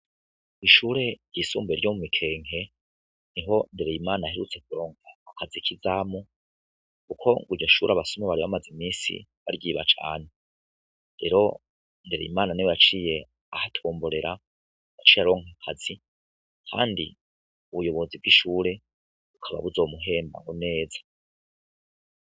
Ishure ryisumbuye ryo mu Mikenke, niho Nderyimana aherutse kuronka akazi k'izamu kuko ngo iryo shure abasuma bari bamaze iminsi baryiba cane. Rero Ndereyimana ni we yaciye ahatomborera yaciye aronka akazi kandi ubuyobozi bw'ishure bukaba buzomuhemba neza